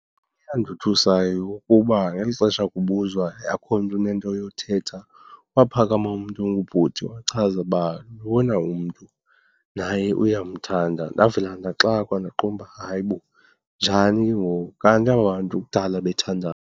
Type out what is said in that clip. Into eyandothusayo kukuba ngeli xesha kubuzwa akho m ntu unento yothetha waphakama umntu ongubhuti wachaza uba lona umntu naye uyamthanda. Ndavela ndaxakwa. Ndaqonda uba, hayi bo njani ke ngoku? Kanti aba bantu kudala bethandana.